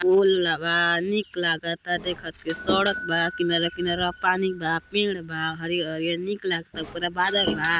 पोल बा नीक लागत बा देखत के सड़क बा किनरवा किनरवा पानी बा पेड़ बा हरियर हरियर नीक लागता ऊपरा बादल बा।